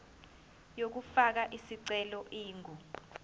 yokufaka isicelo ingu